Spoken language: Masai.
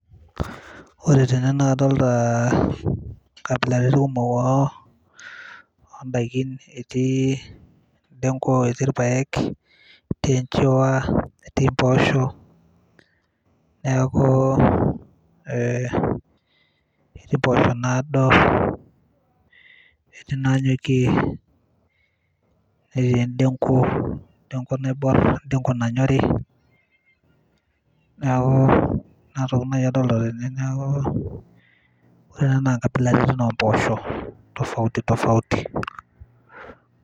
ore tene naa kadolta inkabilaritin kumok oo ondaikin etii endenko etii irpayek etii enchiwa etii impoosho neeku ee ketii impoosho nado ketii nanyokie netii endenko, endenko naiborr endenko nanyori niaku inatoki naaji adolta tene neeku ore ena naa inkabilaritin ompooshok tofauti tofauti.